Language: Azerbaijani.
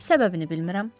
Səbəbini bilmirəm.